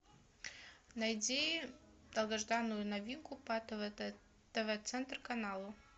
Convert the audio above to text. найди долгожданную новинку по тв центр каналу